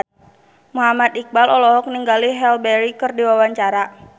Muhammad Iqbal olohok ningali Halle Berry keur diwawancara